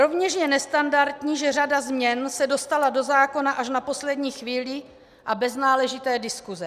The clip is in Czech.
Rovněž je nestandardní, že řada změn se dostala do zákona až na poslední chvíli a bez náležité diskuse.